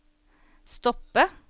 stoppe